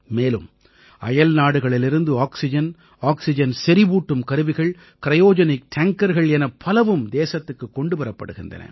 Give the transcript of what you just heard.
மேலும் அயல்நாடுகளிலிருந்து oxygen oxygen செறிவூட்டும் கருவிகள் கிரயோஜெனிக் டேங்கர்கள் எனப் பலவும் தேசத்திற்குக் கொண்டு வரப்படுகின்றன